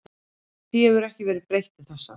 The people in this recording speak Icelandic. Því hefur ekki verið breytt til þessa.